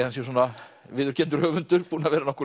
hann sé svona viðurkenndur höfundur búinn að vera nokkuð